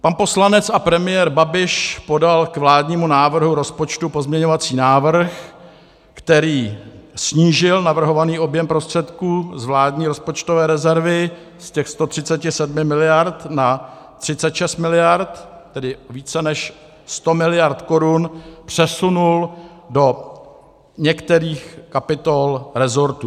Pan poslanec a premiér Babiš podal k vládnímu návrhu rozpočtu pozměňovací návrh, který snížil navrhovaný objem prostředků z vládní rozpočtové rezervy z těch 137 miliard na 36 miliard, tedy více než 100 miliard korun přesunul do některých kapitol resortů.